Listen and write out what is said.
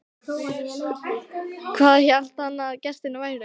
Hvað hélt hann að gestir væru?